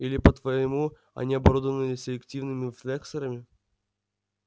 или по-твоему они оборудованы селективными флексорами